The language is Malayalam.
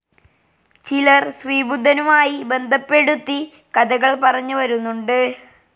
ചിലർ ശ്രീബുദ്ധനുമായി ബന്ധപ്പെടുത്തി കഥകൾ പറഞ്ഞു വരുന്നുണ്ട്.